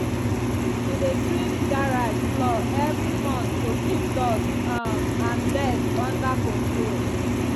she dey sweep garage floor every month to keep dust um and dirt under control.